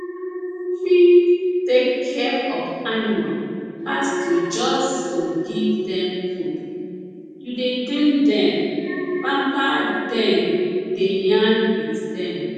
fi tek care of animal pass to jus to give dem food you dey clean dem pamper dem dey yarn with dem